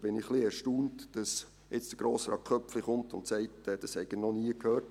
Ich bin ein wenig erstaunt, dass jetzt Grossrat Köpfli kommt und sagt, davon habe er noch nie gehört.